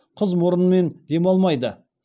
қыз мұрынмен демалмайды